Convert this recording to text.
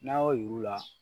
N'a y'o yir'u la